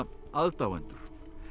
aðdáendur